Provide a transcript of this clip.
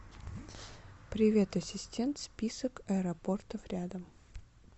привет ассистент список аэропортов рядом